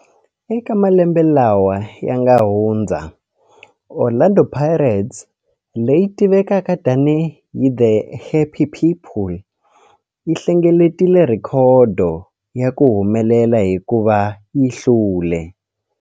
Eka malembe lawa yanga hundza, Orlando Pirates, leyi tivekaka tani hi 'The Happy People', yi hlengeletile rhekhodo ya ku humelela hikuva yi hlule.